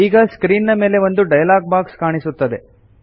ಈಗ ಸ್ಕ್ರೀನ್ ಮೇಲೆ ಒಂದು ಡೈಲಾಗ್ ಬಾಕ್ಸ್ ಕಾಣಿಸುತ್ತದೆ